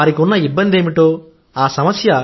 వారికి ఉన్న ఇబ్బంది ఏమిటో ఆ సమస్య